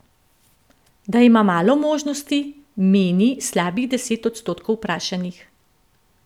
Da ima malo možnosti, meni slabih deset odstotkov vprašanih.